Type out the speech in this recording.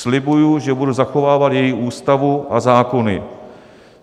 Slibuji, že budu zachovávat její Ústavu a zákony.